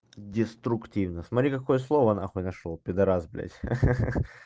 деструктивно смотри какое слово нахуй нашёл пидарас блядь